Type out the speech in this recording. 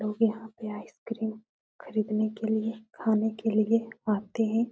लोग यहाँ पे आइस्क्रिम खरीदने के लिए खाने के लिए आते हैं।